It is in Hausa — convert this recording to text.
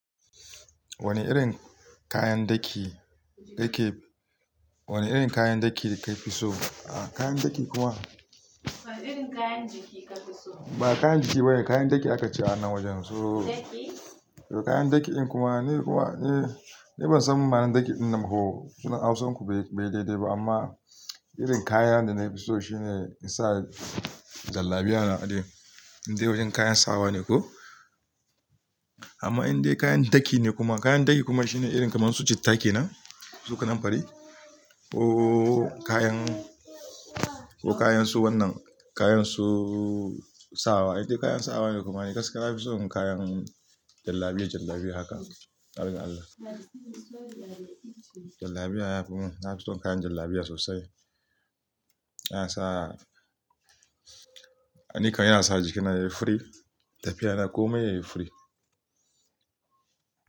Wane irin kayan daki ɗake, wane irin kayan daki ka fi so? A kayan daki kuma, wane irin kayan jiki kafi so? Ba kayan jiki ba ne, kayan daki aka ce a nan wajen. So- daki? Kayan daki in kuma, ni kuma, eh, ni ban san ma'ana daki kayan daki innin ba ko, sunan Hausar ku bai, bai daidai ba amma irin kayan da na fi so shine in sa jallabiya na a dai. Indai wajen kayan sawa ne ko? Amma indai kayan daki ne kuma kayan daki kuma shine irin kamar su citta kenam, su kananfari ko kayan, ko kayan su wannan, kayansu sawa, indai kayan sawa ne kuma ni gaskiya na fi son kayan jallabiya, jallabiya haka. Farin Allah. Jallabiya ya fi mun, na fi son kayan jallabiya sosai. Yana sa, ni kan yana sa jiki na yayi fari, tafiya na komai yayi furi.